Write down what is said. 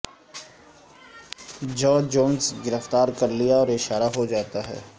George Jones گرفتار کر لیا اور اشارہ ہو جاتا ہے